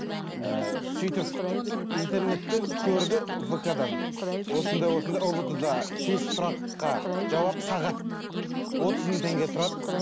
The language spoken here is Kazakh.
і сөйтіп интернеттен көрді вк дан осындай осындай ұбт да тест сұраққа жауап сағат отыз мың теңге тұрады